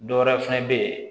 Dɔ wɛrɛ fɛnɛ be ye